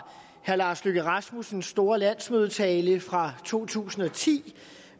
herre lars løkke rasmussens store landsmødetale fra to tusind og ti